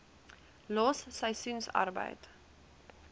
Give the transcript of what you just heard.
los seisoensarbeid